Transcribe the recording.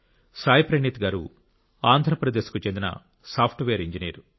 సాయి ప్రణీత్ గారు ఆంధ్రప్రదేశ్కు చెందిన సాఫ్ట్వేర్ ఇంజనీర్